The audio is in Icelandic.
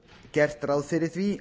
gert ráð fyrir því